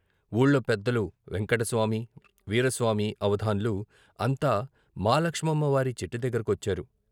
వూళ్ళో పెద్దలు వెంకటస్వామి, వీరాస్వామి, అవధాన్లు అంతా మాలక్షమ్మ వారి చెట్టుదగ్గర కొచ్చారు.